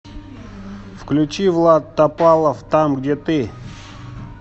включи влад топалов там где ты